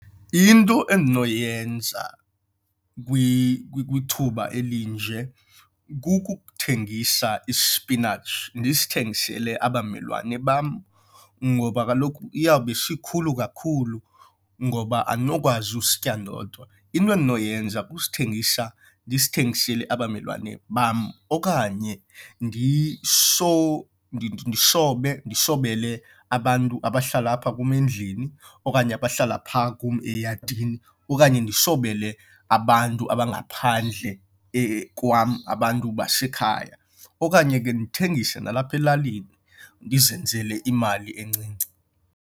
Into endinoyenza kwithuba elinje kukuthengisa ispinatshi ndisithengisele abamelwane bam ngoba kaloku iyawube sikhulu kakhulu ngoba andinokwazi usitya ndodwa. Into endinoyenza kusithengisa ndisithengisele abamelwane bam okanye ndisobe, ndisobele abantu abahlala apha kum endlini okanye abahlala phaa kum eyadini okanye ndisobele abantu abangaphandle kwam, abantu basekhaya okanye ke ndithengise nalapha elalini ndizenzele imali encinci.